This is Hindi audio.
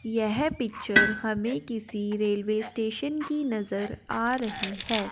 यह पिक्चर हमें किसी रेलवे स्टेशन की नजर आ रही है।